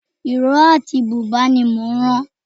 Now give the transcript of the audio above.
Ìró àti bùbá ní mò ń ran